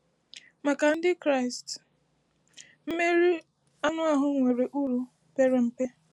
Maka Ndị Kraịst, mmeri anụ ahụ nwere uru pere mpe.